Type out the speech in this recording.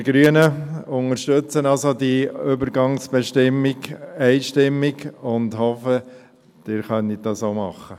Wir Grünen unterstützen also diese Übergangsbestimmung einstimmig und hoffen, Sie können dies auch tun.